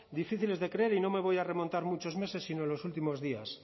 difíciles de creer y no me voy a remontar muchos meses sino en los últimos días